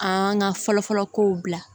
An ka fɔlɔfɔlɔ kow bila